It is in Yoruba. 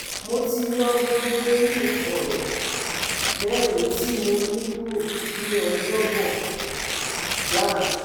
Mo ti yo gbogbo eyin koro mẹrin ti mo ni kuro ni Ọjọbọ, Jan